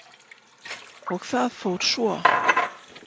Og það fór svo.